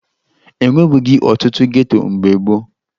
E nwebughi ọtụtụ geto mgbe gboo